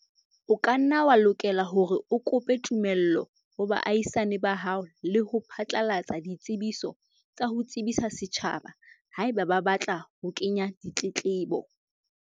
O ka nna wa lokela hore o kope tumello ho baahisane ba hao le ho phatlalatsa ditsebiso tsa ho tsebisa setjhaba, haeba ba batla ho kenya ditletlebo.